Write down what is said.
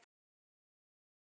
Eða hvað er málið?